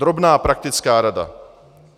Drobná praktická rada.